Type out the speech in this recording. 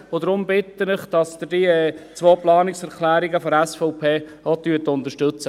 Deshalb bitte ich Sie, die zwei Planungserklärungen der SVP zu unterstützen.